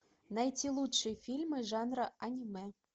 найти лучшие фильмы жанра аниме